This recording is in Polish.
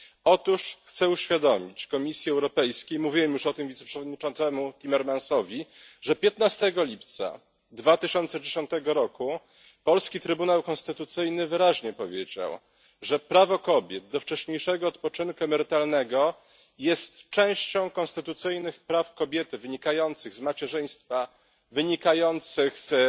Otóż chcę uświadomić Komisji Europejskiej, mówiłem już o tym wiceprzewodniczącemu Timmermansowi, że 15 lipca 2010 roku polski Trybunał Konstytucyjny wyraźnie powiedział, że prawo kobiet do wcześniejszego odpoczynku emerytalnego jest częścią konstytucyjnych praw kobiety wynikających z macierzyństwa, wynikających z